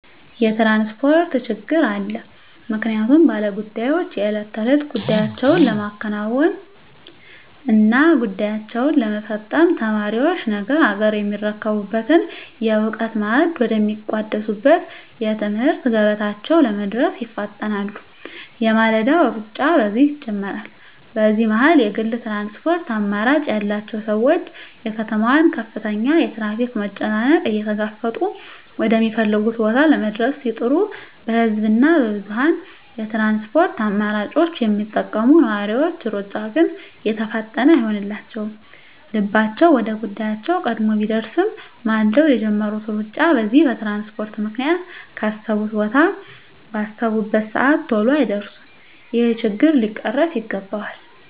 የትራንስፖርት ችግር አለ ምክንያቱም ባለ ጉዳዮች የእለት ተእለት ጉዳያቸዉን ለማከናወን እና ጉዳያቸዉን ለመፈፀም፣ ተማሪዎች ነገ አገርየሚረከቡበትን የእዉቀት ማዕድ ወደ ሚቋደሱበት የትምህርት ገበታቸዉ ለመድረስ ይፋጠናሉ የማለዳዉ ሩጫ በዚህ ይጀምራል በዚህ መሀል የግል ትራንስፖርት አማራጭ ያላቸዉ ሰዎች የከተማዋን ከፍተኛ የትራፊክ መጨናነቅ እየተጋፈጡ ወደ ሚፈልጉት ቦታ ለመድረስ ሲጥሩ በህዝብ እና በብዙኀን የትራንስፖርት አማራጮች የሚጠቀሙ ነዋሪዎች ሩጫ ግን የተፋጠነ አይሆንላቸዉም ልባቸዉ ወደ ጉዳያቸዉ ቀድሞ ቢደርስም ማልደዉ የጀመሩት ሩጫ በዚህ በትራንስፖርት ምክንያት ካሰቡት ቦታ ባሰቡበት ሰአት ተሎ አይደርሱም ይሄ ችግር ሊቀረፍ ይገባል